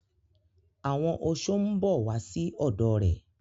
Àwọn oṣó mbọ wasi ọdọ rẹ.